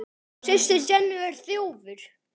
Systir Jennu er þjófur.